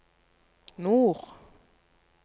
nord